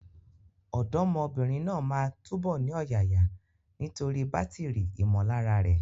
Ọ̀dọ́mọbìnrin náà máa túbọ̀ ní ọ̀yàyà nítorí bátìrì ìmọ̀lára rẹ̀.